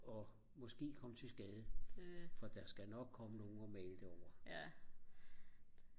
og måske komme til skade for der skal nok komme nogen at male det andet